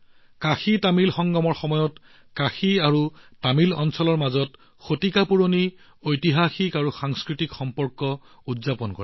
কাশীতামিল সংগমৰ সময়ত কাশী আৰু তামিল অঞ্চলৰ মাজত শতিকা পুৰণি ঐতিহাসিক আৰু সাংস্কৃতিক সম্পৰ্ক উদযাপন কৰা হৈছিল